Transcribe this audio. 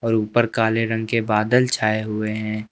और ऊपर काले रंग के बादल छाए हुए हैं।